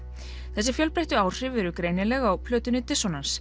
þessi fjölbreyttu áhrif eru greinileg á plötunni